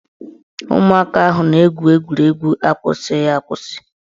Ụmụaka ahụ na-egwu egwuregwu akwụsịghị akwụsị